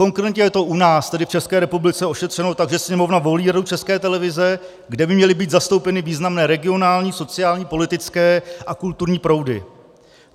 Konkrétně je to u nás, tedy v České republice, ošetřeno tak, že Sněmovna volí Radu České televize, kde by měly být zastoupeny významné regionální, sociální, politické a kulturní proudy.